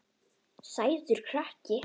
Sætur krakki!